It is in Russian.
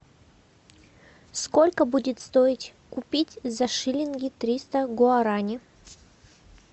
сколько будет стоить купить за шиллинги триста гуарани